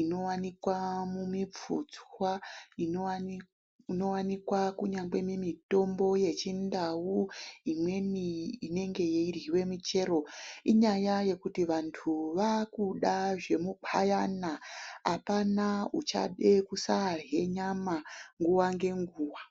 inovanikwa mumipfutswa. Inovanikwa kunyangwe nemitombo yechindau. Imweni inenge yeiryiva michero, inyaya yekuti vantu vakuda zvemupayana hapana uchede kusarya nyama nguva ngenguva.